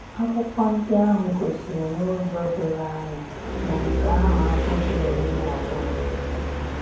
Akwụkwọ ndị ahụ gosiri n'ụzọ doro anya, na nke ahụ abụghị omenala nkịtị.